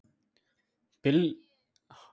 Bylgjan Uppáhaldsdrykkur?